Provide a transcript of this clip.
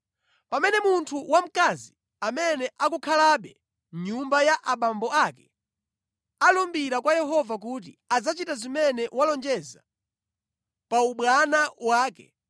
“Pamene munthu wamkazi amene akukhalabe mʼnyumba ya abambo ake alumbira kwa Yehova kuti adzachita zimene walonjeza pa ubwana wake,